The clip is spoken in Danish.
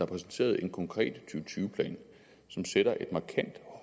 præsenteret en konkret to tusind tyve plan som sætter et markant